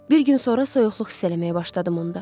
Bir gün sonra soyuqluq hiss eləməyə başladım onda.